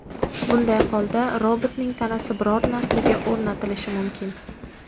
Bunday holda robotning tanasi biron narsaga o‘rnatilishi mumkin.